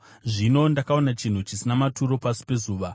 Zvino ndakaona chinhu chisina maturo pasi pezuva.